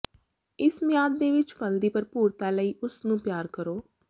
ਇਸ ਮਿਆਦ ਦੇ ਵਿੱਚ ਫਲ ਦੀ ਭਰਪੂਰਤਾ ਲਈ ਉਸ ਨੂੰ ਪਿਆਰ ਕਰੋ